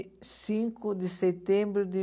Cinco de setembro de